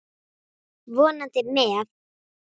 Vonandi með.